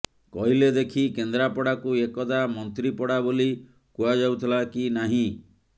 କହିଲେ ଦେଖି କେନ୍ଦ୍ରାପଡାକୁ ଏକଦା ମନ୍ତ୍ରୀପଡା ବୋଲି କୁହାଯାଉଥିଲା କି ନାହିଁ